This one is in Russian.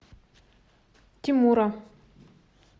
тимура